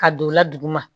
Ka don o la duguma